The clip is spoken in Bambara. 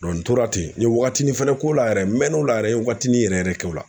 n tora ten n ye wagatinin fɛnɛ k'o la yɛrɛ , n mɛn o la yɛrɛ watinin yɛrɛ yɛrɛ kɛ o la.